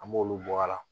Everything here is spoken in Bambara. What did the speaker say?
An b'olu bɔ a la